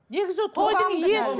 негізі тойдың иесі